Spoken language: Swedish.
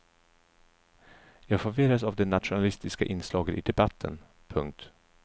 Jag förvirras av det nationalistiska inslaget i debatten. punkt